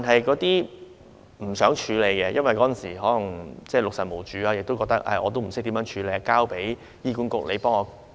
有些父母不想處理，或許因為當時六神無主，亦不知道應如何處理，便交由醫院管理局處理。